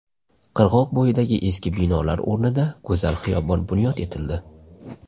Qirg‘oq bo‘yidagi eski binolar o‘rnida go‘zal xiyobon bunyod etildi.